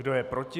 Kdo je proti?